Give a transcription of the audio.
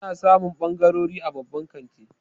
Ana samun ɓangarori a babban kanti.